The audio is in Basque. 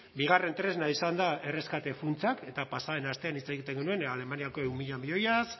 bigarren tresna izan da erreskate funtsak eta pasa den astean hitz egiten genuen alemaniako ehun mila milioiaz